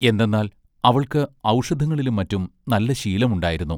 എന്തെന്നാൽ അവൾക്ക് ഔഷധങ്ങളിലും മറ്റും നല്ല ശീലമുണ്ടായിരുന്നു.